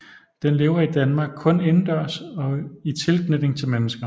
Den lever i Danmark kun indendørs i tilknytning til mennesker